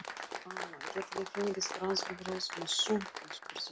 Amma, get ég fengið franskbrauð með sultu? spurði Lilla.